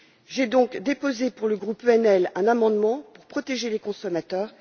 J'ai donc déposé, pour le groupe ENF, un amendement pour protéger les consommateurs.